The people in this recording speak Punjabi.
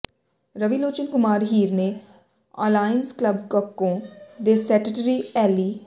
ਰਵੀਲੋਚਨ ਕੁਮਾਰ ਹੀਰ ਤੇ ਅਲਾਇੰਸ ਕਲੱਬ ਕੱਕੋਂ ਦੇ ਸੈਟਟਰੀ ਐਲੀ